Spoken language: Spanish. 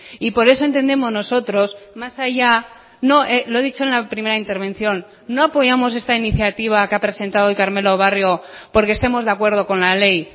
y por eso entendemos nosotros más allá lo he dicho en la primera intervención no apoyamos esta iniciativa que ha presentado hoy carmelo barrio porque estemos de acuerdo con la ley